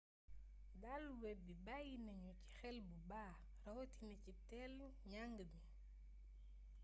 dalu web bi bàyyi nanu ci xel bu baax rawatina ci tëëln njàng mi